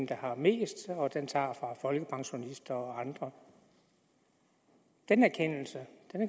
der har mest og den tager fra folkepensionister og andre den erkendelse